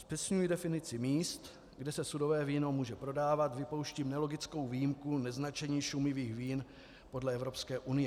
Zpřesňuji definici míst, kde se sudové víno může prodávat, vypouštím nelogickou výjimku neznačení šumivých vín podle Evropské unie.